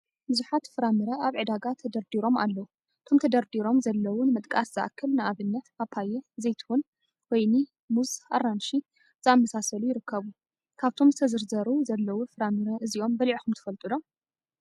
ብዙሓት ፍራምር ኣብ ዕዳጋ ተደርዲሮ ኣለዉ። እቶም ተደርዲሮም ዘለው ንምጥቃስ ዝኣክል ንኣብነት፦ ፓፓየ፣ ዘይትሁን፣ ወይኒ፣ ሙዝ፣ ኣራንሺ ዘኣመሳስሉ ይርከቡ። ካብቶም ዝተዘርዘሩ ዘለዉ ፍራምራ እዚኡም በሊዕኩም ትፈልጡ ዶ?